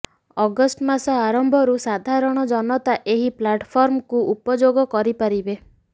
August ମାସ ଆରମ୍ଭରୁ ସାଧାରଣ ଜନତା ଏହି ପ୍ଲାଟଫର୍ମକୁ ଉପଯୋଗ କରିପାରିବେ